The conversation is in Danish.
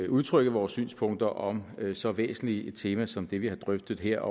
udtrykke vores synspunkter om så væsentligt et tema som det vi har drøftet her